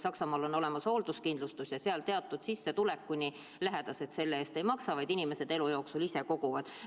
Saksamaal on olemas hoolduskindlustus ja seal teatud sissetulekuni lähedased selle eest ei maksa, vaid inimesed elu jooksul ise koguvad seda raha.